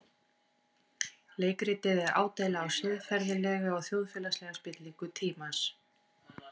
Leikritið er ádeila á siðferðilega og þjóðfélagslega spillingu tímans.